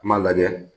N m'a lajɛ